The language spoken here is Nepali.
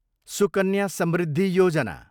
सुकन्या समृद्धि योजना